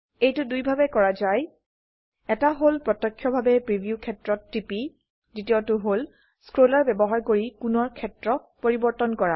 এইটো দুইভাবে কৰা যায় এটা হল প্ৰত্যক্ষভাবে প্ৰিভিউ ক্ষেত্ৰত টিপি দ্বিতিয়টো হল স্ক্ৰোলাৰ ব্যবহাৰ কৰি কোণৰ ক্ষেত্ৰ পৰিবৰ্তন কৰা